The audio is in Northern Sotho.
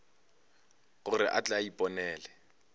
gore a tle a iponele